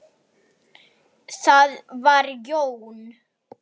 Það var Jón